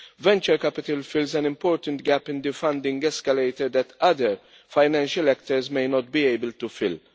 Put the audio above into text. venture capital fills an important gap in the funding escalator that other financial actors may not be able to fill.